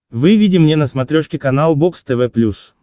выведи мне на смотрешке канал бокс тв плюс